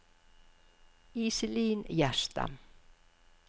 Iselin Gjerstad